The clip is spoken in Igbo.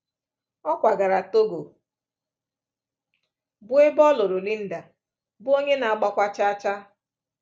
Ọ kwagara Togo, bụ́ ebe ọ lụrụ Linda, bụ́ onye na-agbakwa chaa chaa.